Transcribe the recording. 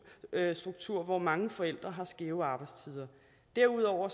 hvor mange forældre har skæve arbejdstider derudover